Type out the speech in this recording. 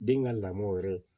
Den ka lamɔ yɛrɛ